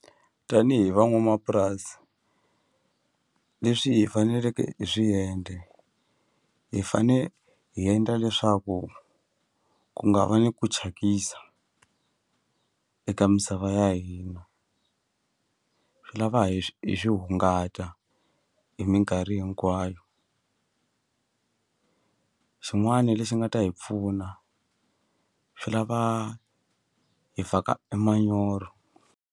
Tanihi van'wamapurasi leswi hi faneleke hi swi endla hi fane hi endla leswaku ku nga va ni ku thyakisa eka misava ya hina swi lava hi hi swi hungata hi minkarhi hinkwayo xin'wani lexi nga ta hi pfuna swi lava hi faka e manyoro.